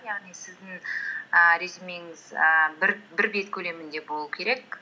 яғни сіздің ііі резюмеңіз ііі бір бет көлемінде болу керек